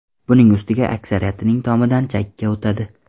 Buning ustiga, aksariyatining tomidan chakka o‘tadi.